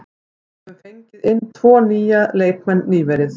Við höfum fengið inn tvo nýja leikmenn nýverið.